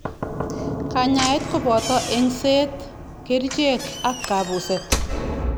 Kanyaet koboto eng'seet, kercheek ak kabuset